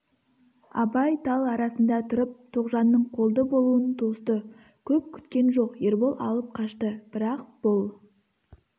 абай тал арасында тұрып тоғжанның қолды болуын тосты көп күткен жоқ ербол алып қашты бірақ бұл